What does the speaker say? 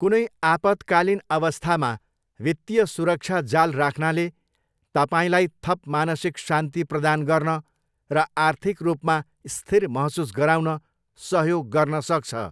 कुनै आपतकालीन अवस्थामा वित्तीय सुरक्षा जाल राख्नाले तपाईँलाई थप मानसिक शान्ति प्रदान गर्न र आर्थिक रूपमा स्थिर महसुस गराउन सहयोग गर्न सक्छ।